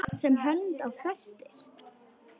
Allt sem hönd á festir.